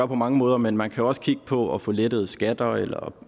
på mange måder men man kan også kigge på at få lettet skatter eller